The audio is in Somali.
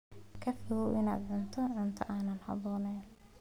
Ka fogow inaad cuntid cunto aan habboonayn.